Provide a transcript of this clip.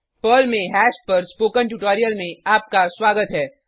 Perl में hash पर spoken tutorial में आपका स्वागत है